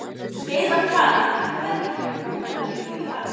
Um skeið var talið að um tvær milljónir búrhvala lifðu í hafinu.